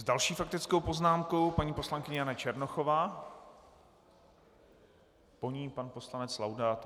S další faktickou poznámkou paní poslankyně Jana Černochová, po ní pan poslanec Laudát.